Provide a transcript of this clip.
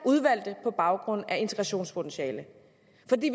udvalgte på baggrund af integrationspotentiale